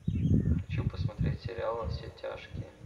хочу посмотреть сериал во все тяжкие